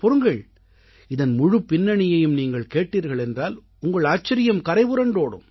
பொறுங்கள் இதன் முழுப் பின்னணியையும் நீங்கள் கேட்டீர்கள் என்றால் உங்கள் ஆச்சரியம் கரைபுரண்டோடும்